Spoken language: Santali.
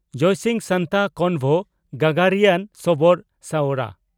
ᱡᱚᱭᱥᱤᱝ ᱥᱟᱱᱛᱟ (ᱠᱚᱱᱵᱷᱚ) ᱜᱟᱜᱟᱨᱤᱭᱟᱱ ᱥᱚᱵᱚᱨ (ᱥᱚᱣᱨᱟ)